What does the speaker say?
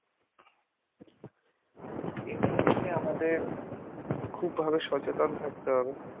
তাই আমাদের খুব ভাবে সচেতন থাকতে হবে।